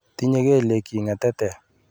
Tinye kelyekchi ng'etetek.